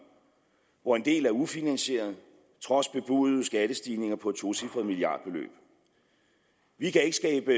hvor en del er ufinansierede trods bebudede skattestigninger på et tocifret milliardbeløb vi kan ikke skabe